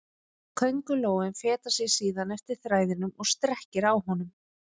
Köngulóin fetar sig síðan eftir þræðinum og strekkir á honum.